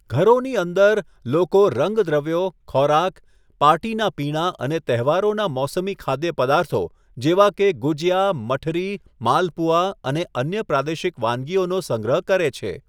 ઘરોની અંદર, લોકો રંગદ્રવ્યો, ખોરાક, પાર્ટીનાં પીણાં અને તહેવારોના મોસમી ખાદ્યપદાર્થો જેવા કે ગુજિયા, મઠરી, માલપુઆ અને અન્ય પ્રાદેશિક વાનગીઓનો સંગ્રહ કરે છે.